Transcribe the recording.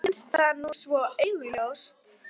Mér finnst það nú svo augljóst.